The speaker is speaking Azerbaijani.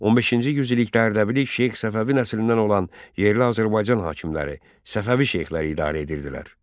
15-ci yüzillikdə Ərdəbili Şeyx Səfəvi nəslindən olan yerli Azərbaycan hakimləri, Səfəvi şeyxləri idarə edirdilər.